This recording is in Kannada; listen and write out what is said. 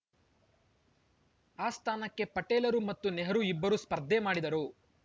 ಆ ಸ್ಥಾನಕ್ಕೆ ಪಟೇಲರು ಮತ್ತು ನೆಹರು ಇಬ್ಬರು ಸ್ಪರ್ಧೆ ಮಾಡಿದರು